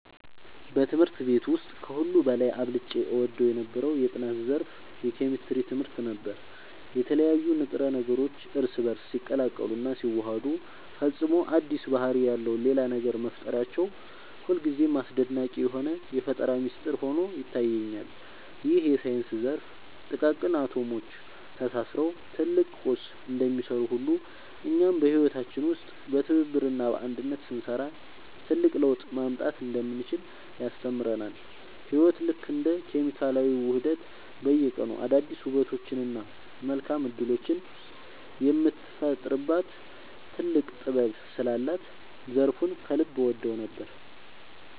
በትምህርት ቤት ውስጥ ከሁሉ በላይ አብልጬ እወደው የነበረው የጥናት ዘርፍ የኬሚስትሪ ትምህርት ነበር። የተለያዩ ንጥረ ነገሮች እርስ በእርስ ሲቀላቀሉና ሲዋሃዱ ፈጽሞ አዲስ ባህሪ ያለው ሌላ ነገር መፍጠራቸው ሁልጊዜም አስደናቂ የሆነ የፈጠራ ሚስጥር ሆኖ ይታየኛል። ይህ የሳይንስ ዘርፍ ጥቃቅን አቶሞች ተሳስረው ትልቅ ቁስ እንደሚሰሩ ሁሉ፣ እኛም በህይወታችን ውስጥ በትብብርና በአንድነት ስንሰራ ትልቅ ለውጥ ማምጣት እንደምንችል ያስተምረናል። ህይወት ልክ እንደ ኬሚካላዊ ውህደት በየቀኑ አዳዲስ ውበቶችንና መልካም እድሎችን የምትፈጥርበት ጥልቅ ጥበብ ስላላት ዘርፉን ከልብ እወደው ነበር።